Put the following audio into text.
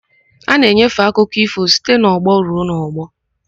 A na-enyefe akụkọ ífò site n'ọgbọ ruo n'ọgbọ.